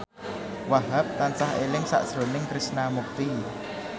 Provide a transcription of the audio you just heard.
Wahhab tansah eling sakjroning Krishna Mukti